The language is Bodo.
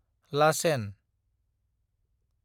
लाचेन